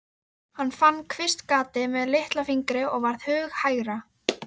Hann fann kvistgatið með litlafingri og varð hughægra.